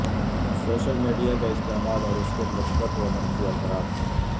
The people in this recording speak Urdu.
سوشل میڈیا کا استعمال اور اس کے مثبت و منفی اثرات